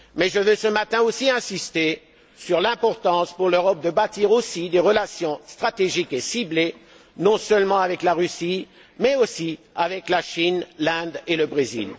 Mais je veux également insister ce matin sur l'importance pour l'Europe de bâtir des relations stratégiques et ciblées non seulement avec la Russie mais aussi avec la Chine, l'Inde et le Brésil.